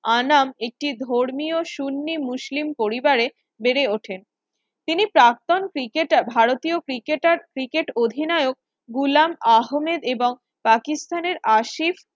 আনাম একটি ধর্মীয় সুন্নি মুসলিম পরিবারে বেড়ে ওঠে। তিনি প্রাক্তন ক্রিকেটার ভারতীয় ক্রিকেটার ক্রিকেট অধিনায়ক গুলাম আহমেদ এবং পাকিস্তানের আসিফ